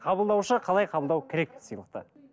қабылдаушы қалай қабылдау керек сыйлықты